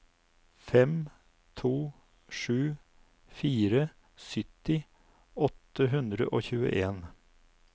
fem to sju fire sytti åtte hundre og tjueen